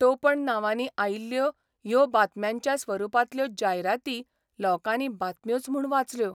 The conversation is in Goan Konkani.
टोपण नांवानी आयिल्ल्यो ह्यो बातम्यांच्या स्वरुपांतल्यो ' जायराती ' लोकांनी बातम्योच म्हूण वाचल्यो.